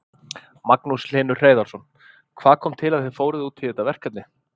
Magnús Hlynur Hreiðarsson: Hvað kom til að þið fóruð út í þetta verkefni?